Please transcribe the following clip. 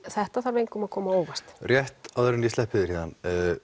þetta þarf engum að koma á óvart rétt áður en ég sleppi þér héðan